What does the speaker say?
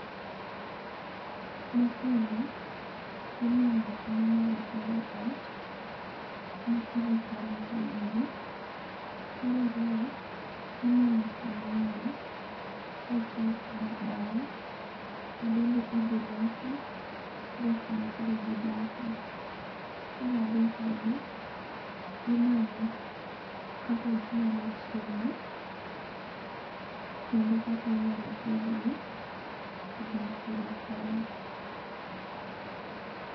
Mokuongo imanyo kuma inyalo gerie ot, ma idhi kanie gwen gi. Mar ariyo imanyo sing'enge kaachiel koda bao ma bende idhi losi go kuma koro gidake. Mar adek bende imanyo kaka ginyalo chiemo kendo kaka inyalo pidhgi kagin tiere kae.